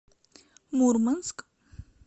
мурманск